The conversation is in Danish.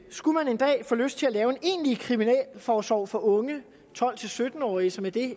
skulle man en dag få lyst til at lave en egentlig kriminalforsorg for unge tolv til sytten årige som er det